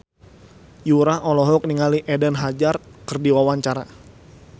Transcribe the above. Yura olohok ningali Eden Hazard keur diwawancara